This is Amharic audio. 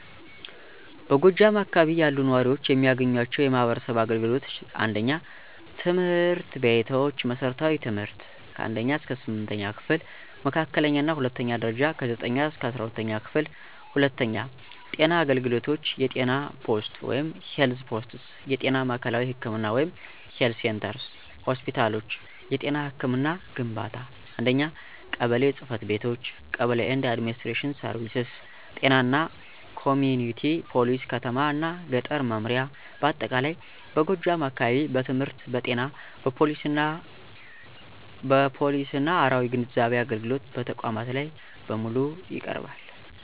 በጎጃም አካባቢ ያሉ ነዋሪዎች የሚያገኟቸው የማህበረሰብ አገልግሎቶች: 1. ትምህርት ቤቶች መሠረታዊ ትምህርት (1ኛ–8ኛ ክፍል) መካከለኛ እና ሁለተኛው ደረጃ(9ኛ-12ኛ ክፍል) 2. ጤና አገልግሎቶች የጤና ፖስት (Health Posts) የጤና ማዕከላዊ ህክምና (Health Centers) ሆስፒታሎች የጤና ህክምና ግንባታ 1. ቀበሌ ጽ/ቤቶች (Kebele & Administrative Services ጤና እና ኮሚኩኒቲ ፖሊሲ ከተማ እና ገጠር መምሪያ በአጠቃላይ በጎጃም አካባቢ በትምህርት በጤና በፖሊሲና አራዊ ግንዛቤ አገልግሎት በተቋማት ላይ በሙሉ ይቀርባል።